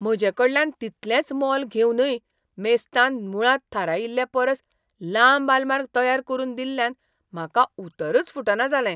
म्हजेकडल्यान तितलेंच मोल घेवनय मेस्तान मुळांत थारायिल्ले परस लांब आलमार तयार करून दिल्ल्यान म्हाका उतरच फुटना जालें.